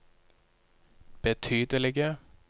betydelige